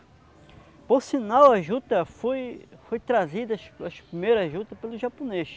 Por sinal, a juta foi foi trazida, as as a primeira juta, pelo japonês.